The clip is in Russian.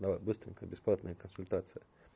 давай быстренько бесплатная консультация